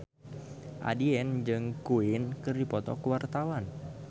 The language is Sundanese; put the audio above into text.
Andien jeung Queen keur dipoto ku wartawan